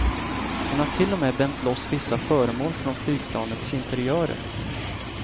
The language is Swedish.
Hon har till och med bänt loss vissa föremål från flygplanens interiörer.